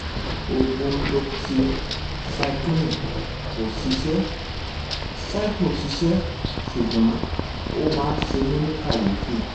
oògùn doxycycline kò ṣiṣẹ́ cipro ṣiṣẹ́ ṣùgbọ́n ó máa ń ṣe mí ní kàyéfì